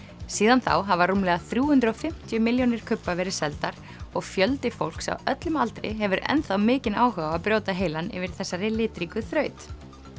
síðan þá hafa rúmlega þrjú hundruð og fimmtíu milljónir kubba verið seldar og fjöldi fólks á öllum aldri hefur enn þá mikinn áhuga á að brjóta heilann yfir þessari litríku þraut